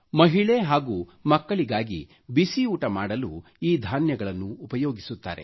ಮಹಿಳೆ ಹಾಗೂ ಮಕ್ಕಳಿಗಾಗಿ ಬಿಸಿಯೂಟ ಮಾಡಲು ಈ ಧಾನ್ಯಗಳನ್ನು ಉಪಯೋಗಿಸುತ್ತಾರೆ